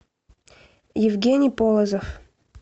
евгений полозов